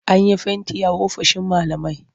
An yi fenti a ofishin malamai.